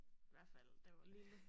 Hvert fald da jeg var lille